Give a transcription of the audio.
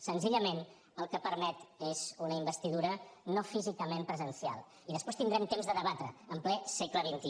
senzillament el que permet és una investidura no físicament presencial i després tindrem temps de debatre ho en ple segle xxi